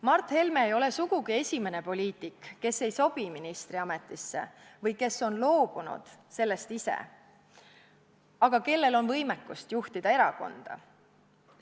Mart Helme ei ole sugugi esimene poliitik, kes ei sobi ministri ametisse või kes on loobunud sellest ise, aga kellel on võimekust juhtida erakonda.